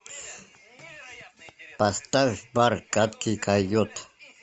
поставь бар гадкий койот